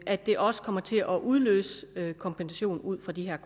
at det også kommer til at udløse kompensation ud fra de